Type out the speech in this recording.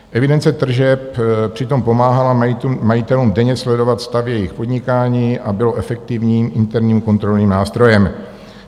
Evidence tržeb přitom pomáhala majitelům denně sledovat stav jejich podnikání a byla efektivním interním kontrolním nástrojem.